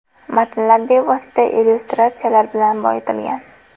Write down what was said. Matnlar bevosita illyustratsiyalar bilan boyitilgan.